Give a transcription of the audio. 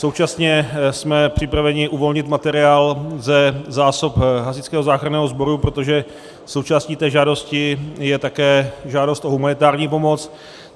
Současně jsme připraveni uvolnit materiál ze zásob Hasičského záchranného sboru, protože součástí té žádosti je také žádost o humanitární pomoc.